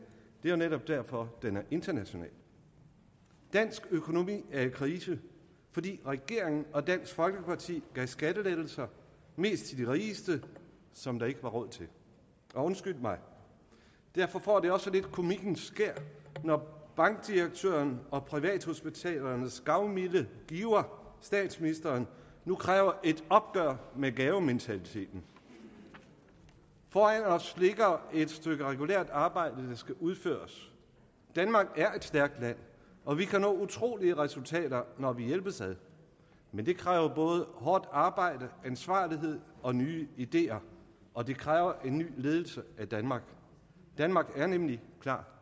det er jo netop derfor den er international dansk økonomi er i krise fordi regeringen og dansk folkeparti gav skattelettelser mest til de rigeste som der ikke var råd til og undskyld mig derfor får det også lidt komikkens skær når bankdirektørens og privathospitalernes gavmilde giver statsministeren nu kræver et opgør med gavementaliteten foran os ligger et stykke regulært arbejde der skal udføres danmark er et stærkt land og vi kan nå utrolige resultater når vi hjælpes ad men det kræver både hårdt arbejde ansvarlighed og nye ideer og det kræver en ny ledelse af danmark danmark er nemlig klar